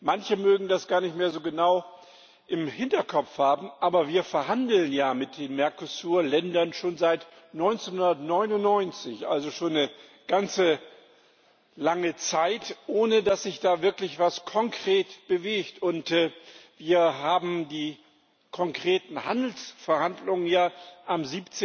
Manche mögen das gar nicht mehr so genau im Hinterkopf haben, aber wir verhandeln mit den Mercosur Ländern schon seit 1999 also schon eine ganz lange Zeit ohne dass sich da wirklich etwas konkret bewegt. Wir haben die konkreten Handelsverhandlungen schon am